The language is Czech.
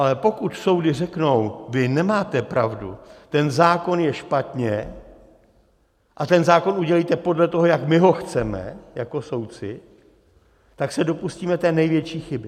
Ale pokud soudy řeknou, vy nemáte pravdu, ten zákon je špatně a ten zákon udělejte podle toho, jak my ho chceme jako soudci, tak se dopustíme té největší chyby.